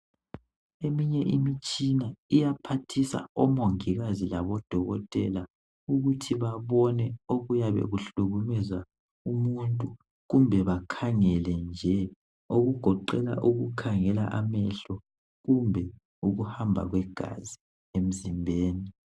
Eminye imitshina iyaphathisa omongikazi labodokotela ukuthi babone okuyabe kuhlukumeza umuntu kumbe bakhangele nje okugoqela ukukhangela amehlo kumbe ukuhamba kwegazi emzimbeni.